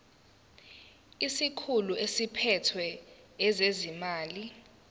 isikhulu esiphethe ezezimali